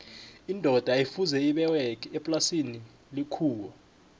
indoda yayi fuze iberge eplasini lethuwa